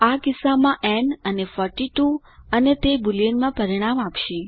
આ કિસ્સામાં ન અને 42 અને તે બોલિયન માં પરિણામ આપશે